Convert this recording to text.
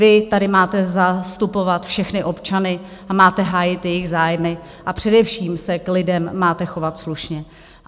Vy tady máte zastupovat všechny občany a máte hájit jejich zájmy a především se k lidem máte chovat slušně.